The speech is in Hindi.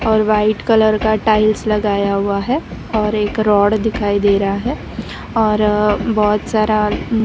और व्हाइट कलर का टाइल्स लगाया हुआ है और एक रोड दिखाई दे रहा है और बहोत सारा--